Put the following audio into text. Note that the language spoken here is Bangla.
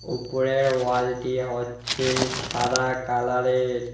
উপরের ওয়ালটি হচ্ছে সাদা কালারের।